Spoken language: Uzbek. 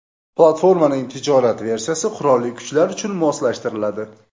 Platformaning tijorat versiyasi qurolli kuchlar uchun moslashtiriladi.